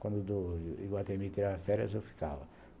Quando o do Iguatemi tirava férias, eu ficava.